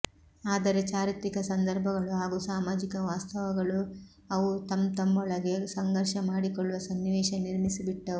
ಆದರೆ ಚಾರಿತ್ರಿಕ ಸಂದರ್ಭಗಳು ಹಾಗೂ ಸಾಮಾಜಿಕ ವಾಸ್ತವಗಳು ಅವು ತಂತಮ್ಮೊಳಗೆ ಸಂಘರ್ಷ ಮಾಡಿಕೊಳ್ಳುವ ಸನ್ನಿವೇಶ ನಿರ್ಮಿಸಿಬಿಟ್ಟವು